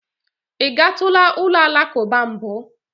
Ị gatula ụlọ alakụba mbụ?